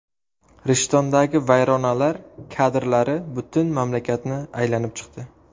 Rishtondagi vayronalar kadrlari butun mamlakatni aylanib chiqdi.